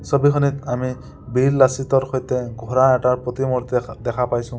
ছবিখনত আমি বীৰ লাচিতৰ সৈতে ঘোঁৰা এটাৰ প্ৰতিমূৰ্তি দেশ দেখা পাইছোঁ।